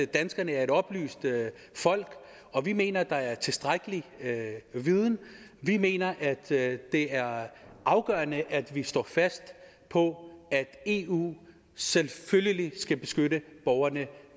danskerne er et oplyst folk og vi mener at der er tilstrækkelig viden vi mener det er afgørende at vi står fast på at eu selvfølgelig skal beskytte borgerne